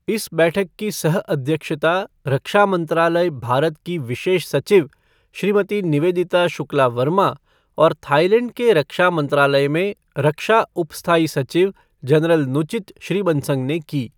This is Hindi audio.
इस बैठक की सह अध्यक्षता रक्षा मंत्रालय, भारत की विशेष सचिव श्रीमती निवेदिता शुक्ला वर्मा और थाईलैंड के रक्षा मंत्रालय में रक्षा उप स्थायी सचिव जनरल नुचित श्रीबंसंग ने की।